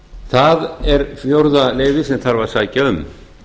það er fjórða leyfið sem þarf að sækja um